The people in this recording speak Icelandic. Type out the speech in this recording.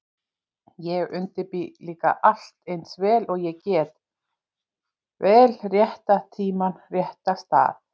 Ég undirbý líka allt eins vel og ég get, vel rétta tímann, rétta stað